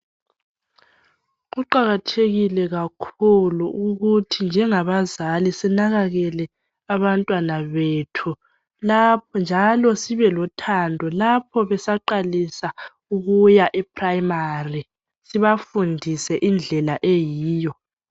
Kuqakathekile kakhulu ukuthi njengabazali sinakakele abantwana bethu lapho njalo sibelothando lapho besaqalisa ukuya eprimary sibafundise indlela eyiyo.